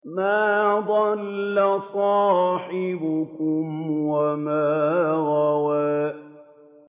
مَا ضَلَّ صَاحِبُكُمْ وَمَا غَوَىٰ